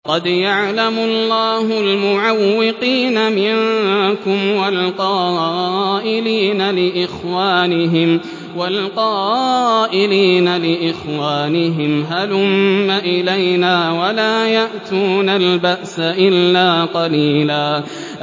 ۞ قَدْ يَعْلَمُ اللَّهُ الْمُعَوِّقِينَ مِنكُمْ وَالْقَائِلِينَ لِإِخْوَانِهِمْ هَلُمَّ إِلَيْنَا ۖ وَلَا يَأْتُونَ الْبَأْسَ إِلَّا قَلِيلًا